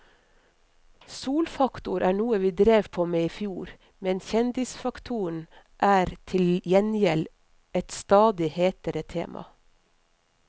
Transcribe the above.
Solfaktor er noe vi drev på med i fjor, men kjendisfaktoren er til gjengjeld et stadig hetere tema.